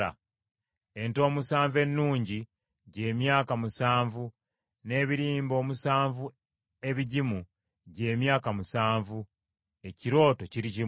Ente omusanvu ennungi gy’emyaka musanvu n’ebirimba omusanvu ebigimu gy’emyaka musanvu; ekirooto kiri kimu.